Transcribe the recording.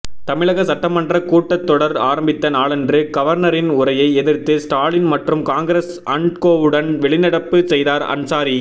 தமிழக சட்டமன்ற கூட்டத்தொடர் ஆரம்பித்த நாளன்று கவர்னரின் உரையை எதிர்த்து ஸ்டாலின் மற்றும் காங்கிரஸ் அண்ட்கோவுடன் வெளிநடப்பு செய்தார் அன்சாரி